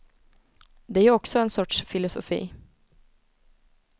Det är ju också en sorts filosofi.